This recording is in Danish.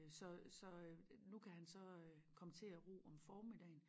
Så så øh nu kan han så øh komme til at ro om formiddagen